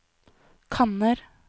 kanner